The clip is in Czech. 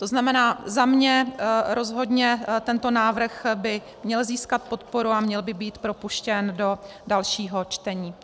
To znamená, za mne rozhodně tento návrh by měl získat podporu a měl by být propuštěn do dalšího čtení.